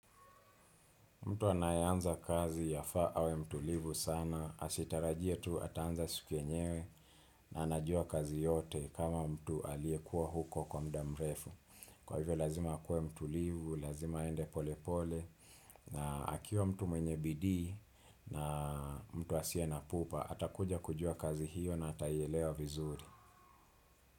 Mtu anaye anza kazi yafaa awe mtulivu sana, asitarajie tu ataanza siku enyewe na anajua kazi yote kama mtu aliyekuwa huko kwa muda mrefu. Kwa hivyo lazima akuwe mtulivu, lazima aende pole pole na akiwa mtu mwenye bidii mtu asiye na pupa, atakuja kujua kazi hiyo na ataielewa vizuri.